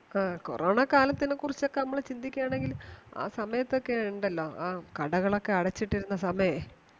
ആ corona കാലത്തിനെ കുറിച്ച് ഒക്കെ നമ്മൾ ചിന്ദിക്കുവാണേൽ ആ സമയത്തു ആ ഒക്കെ ഉണ്ടാലോ കടകൾ ഒക്കെ അടച്ചിട്ടിരുന്നു സാമയെ